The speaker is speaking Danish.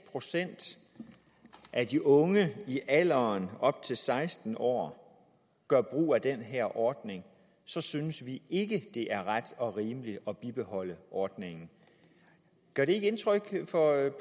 procent af de unge i alderen op til seksten år gør brug af den her ordning så synes vi ikke det er ret og rimeligt at bibeholde ordningen gør det ikke indtryk